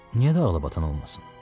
Niyə də ağlabatan olmasın?